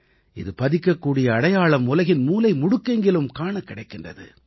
இது பதிக்கக்கூடிய அடையாளம் உலகின் மூலைமுடுக்கெங்கிலும் காணக் கிடைக்கின்றது